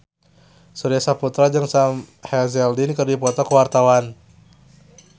Surya Saputra jeung Sam Hazeldine keur dipoto ku wartawan